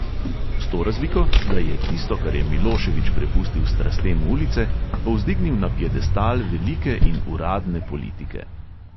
S to razliko, da je tisto, kar je milošević prepustil strastem ulice, povzdignil na piedestal velike in uradne politike.